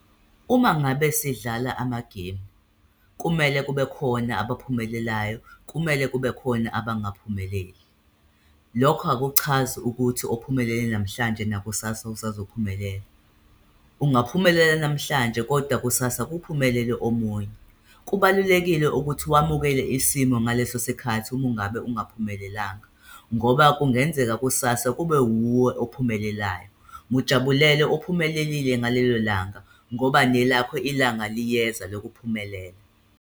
Uma ngabe sidlala amagemu, kumele kube khona abaphumelelayo, kumele kube khona abangaphumeleli. Lokho akuchazi ukuthi ophumele namhlanje nakusasa usazophindela. Ungaphumelela namhlanje koda kusasa kuphumelele omunye. Kubalulekile ukuthi wamukele isimo ngaleso sikhathi uma ungabe engaphumelelanga, ngoba kungenzeka kusasa kube wuwe ophumelelayo. Mujabulele ophumelelile ngalelo langa, ngoba nelakho ilanga liyeza lokuphumelela.